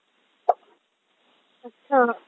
अच्छा.